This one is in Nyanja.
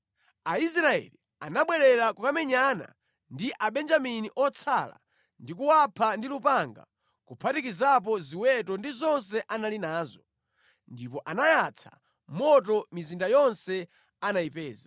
Aisraeli anabwerera kukamenyana ndi Abenjamini otsala ndi kuwapha ndi lupanga kuphatikizapo ziweto ndi zonse anali nazo. Ndipo anayatsa moto mizinda yonse anayipeza.